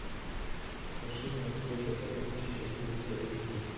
покажи мне успеть до полуночи ультра эйч ди